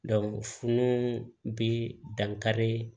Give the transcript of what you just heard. funun bɛ dankari